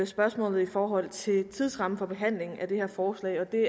spørgsmålet i forhold til tidsrammen for behandlingen af det her forslag det